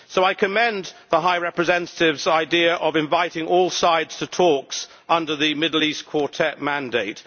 So I commend the High Representative's idea of inviting all sides to talks under the Middle East Quartet mandate.